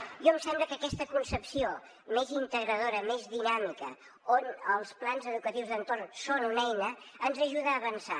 a mi em sembla que aquesta concepció més integradora més dinàmica on els plans educatius d’entorn són una eina ens ajuda a avançar